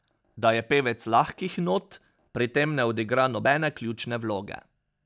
Da je pevec lahkih not, pri tem ne odigra nobene ključne vloge.